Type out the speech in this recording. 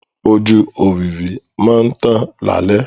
Ojú òwìwí máa ń tàn lálẹ́.